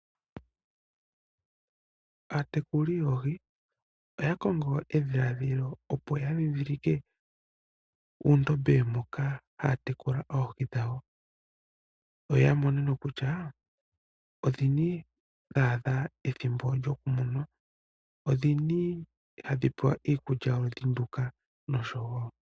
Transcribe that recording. aatekuli yoohi oya kongo edhiladhilo, opo ya dhindhilike uundombe moka haa tekula oohi dhawo, yo ya mone kutya odhini dha adha ethimbo lyokuliwa nodhini hadhi pewa iikulya yoludhi nduka noshowo.